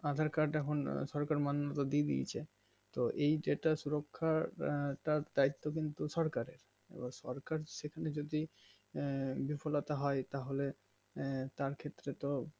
aadher card এখন সরকার দিয়েদিয়েছে তো এই যেটা সুরুক্ষা পদ দায়িত্ব কিন্তু সরকারের এবার সরকার সেখানে যদি আঃ দুফলতা হয় তাহলে আঃ তার ক্ষেত্রে তো